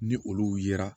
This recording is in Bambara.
Ni olu yera